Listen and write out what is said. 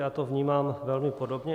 Já to vnímám velmi podobně.